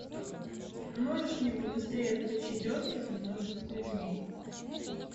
можешь мне побыстрее включить остров ненужных людей